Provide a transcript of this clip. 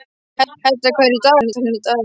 Hedda, hvað er í dagatalinu í dag?